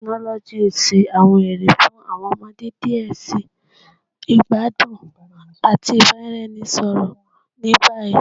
Tekinoloji n ṣe awọn ere fun awọn ọmọde diẹ sii igbadun ati ibaraenisọrọ ni bayi